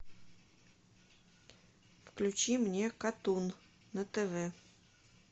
включи мне катун на тв